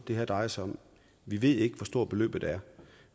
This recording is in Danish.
det her drejer sig om vi ved ikke hvor stort beløbet er